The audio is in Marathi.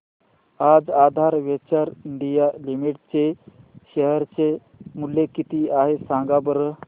आज आधार वेंचर्स इंडिया लिमिटेड चे शेअर चे मूल्य किती आहे सांगा बरं